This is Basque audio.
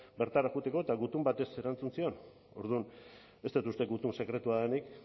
bertara joateko eta gutun batez erantzun zion orduan ez dut uste dut gutun sekretua denik